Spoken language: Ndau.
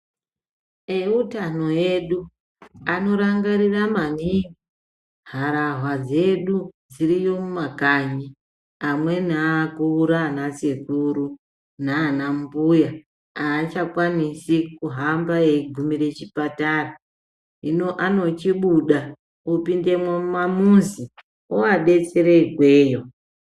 Eutano edu anorangarira maningi harahwa dzedu dziriyo mumakanyi amweni akura ana sekuru nana mbuya aachakwanisi kuhamba eigumire kuchipatara, hino anochibuda opindemwo mumamuzi oabetsere ikweyo.